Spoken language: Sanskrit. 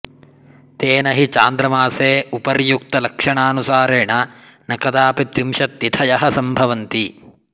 तेन हि चान्द्रमासे उपर्युक्तलक्षणानुसारेण न कदापि त्रिशत्तिथयः सम्भवन्ति